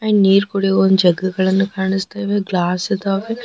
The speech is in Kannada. ನೀರ ಕುಡಿಯು ಒಂದ ಜಗ್ಗು ಗಳನ್ನು ಕಾನಸ್ತಾ ಇದಾವೆ ಹಾಗೆ ಗ್ಲಾಸ್ ಇದಾವೆ.